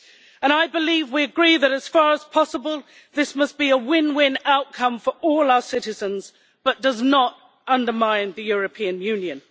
And I believe we agree that, as far as possible, this must be a win win outcome for all our citizens but does not undermine the European Union.